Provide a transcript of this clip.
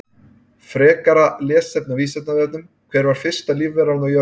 Frekara lesefni á Vísindavefnum: Hver var fyrsta lífveran á jörðinni?